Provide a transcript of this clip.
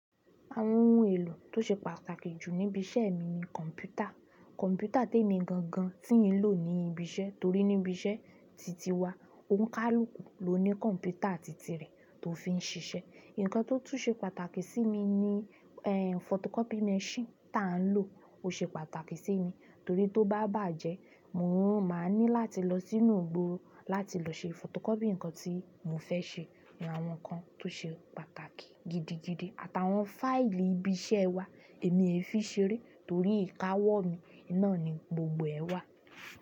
Àwọn ohun èlò tó ṣe pàtàkì jù ní ibi iṣẹ́ mi ní kọ̀npútà. Kọ̀npútà tèmi gangan tí ń lò ní ibi iṣẹ́ torí ní ibi iṣẹ́ titi wa, òǹkálùkù ló ní kọ̀npútà titi rẹ̀ tó fi ń ṣiṣẹ́. Ǹkan tó tu ṣe pàtàkì ni fotocopy mesin tán lọ o ṣe pàtàkì sí mi torí tó babaje mo má ní láti losi ìgboro láti lọ ṣe fotocopy ǹkan tí mofe ṣe. Ní àwọn ǹkan tó ṣe pàtàkì gidigidi àtàwọn fáìlì ibi iṣẹ́ wa èmi ẹ fi ṣeré torí ìkáwọ́ mi iná ni gbogbo ẹ wà.